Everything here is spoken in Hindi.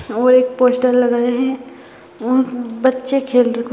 और एक पोस्टर लगा है और बच्चे खेल र --